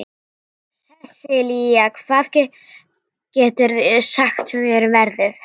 Sesilía, hvað geturðu sagt mér um veðrið?